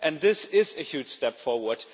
This is a huge step forward.